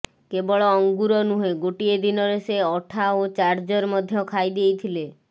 କେବଳ ଅଙ୍ଗୁର ନୁହେଁ ଗୋଟିଏ ଦିନରେ ସେ ଅଠା ଓ ଚାର୍ଜର ମଧ୍ୟ ଖାଇ ଦେଇଥିଲେ